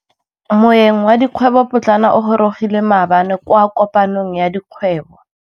Moêng wa dikgwêbô pôtlana o gorogile maabane kwa kopanong ya dikgwêbô.